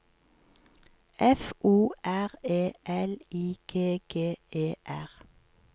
F O R E L I G G E R